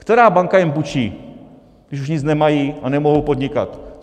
Která banka jim půjčí, když už nic nemají a nemohou podnikat?